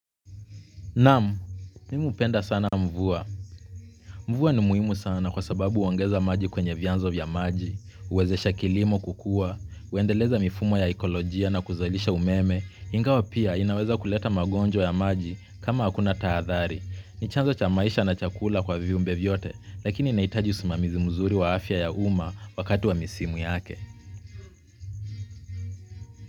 Naam, mimi hupenda sana mvua. Mvua ni muhimu sana kwa sababu uongeza maji kwenye vianzo vya maji, uwezesha kilimo kukua, uendeleza mifumo ya ekolojia na kuzalisha umeme, ingawa pia, inaweza kuleta magonjwa ya maji, kama hakuna taathari. Ni chanzo cha maisha na chakula kwa viumbe vyote. Lakini inahitaji usimamizi mzuri wa afya ya uma, wakati wa misimu yake.